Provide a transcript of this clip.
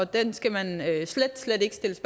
den skal man slet slet